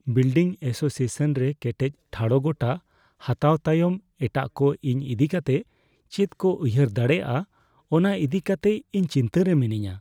Building association ᱨᱮ ᱠᱮᱴᱮᱡ ᱴᱷᱟᱲᱚ ᱜᱚᱴᱟ ᱦᱟᱛᱟᱣ ᱛᱟᱭᱚᱢ ᱮᱴᱟᱜ ᱠᱚ ᱤᱧ ᱤᱫᱤ ᱠᱟᱛᱮ ᱪᱮᱫ ᱠᱚ ᱩᱭᱦᱟᱹᱨ ᱫᱟᱲᱮᱭᱟᱜᱼᱟ ᱚᱱᱟ ᱤᱫᱤ ᱠᱟᱛᱮ ᱤᱧ ᱪᱤᱱᱛᱟᱹ ᱨᱮ ᱢᱤᱱᱟᱹᱧᱟ ᱾